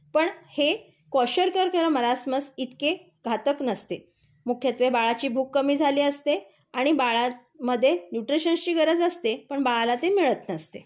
पण हे क्वेशरकर किंवा मरासमस इतके घातक नसते. मुखत्वे बाळाची भूक कमी झाली असते, आणि बाळमध्ये न्यूट्रिशन्सची गरज असते. पण बाळाला ते मिळत नसते.